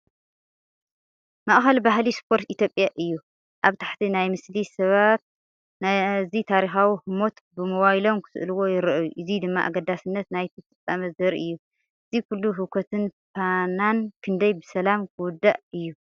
ማእኸል ባህሊ ስፖርት ኢትዮጵያ እዩ። ኣብ ታሕቲ ናይቲ ምስሊ፡ ሰባት ነዚ ታሪኻዊ ህሞት ብሞባይሎም ክስእልዎ ይረኣዩ፡ እዚ ድማ ኣገዳስነት ናይቲ ፍጻመ ዘርኢ እዩ። እዚ ኩሉ ህውከትን ፍናንን ክንደይ ብሰላም ክውዳእ እዩ?